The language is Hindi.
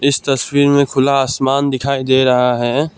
इस तस्वीर में खुला आसमान दिखाई दे रहा है।